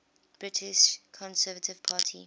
british conservative party